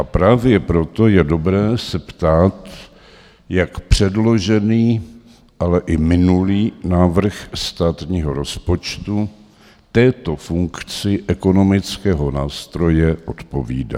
A právě proto je dobré se ptát, jak předložený, ale i minulý návrh státního rozpočtu této funkci ekonomického nástroje odpovídá.